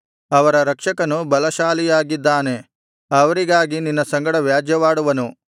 ಅವರ ರಕ್ಷಕನು ಬಲಶಾಲಿಯಾಗಿದ್ದಾನೆ ಅವರಿಗಾಗಿ ನಿನ್ನ ಸಂಗಡ ವ್ಯಾಜ್ಯವಾಡುವನು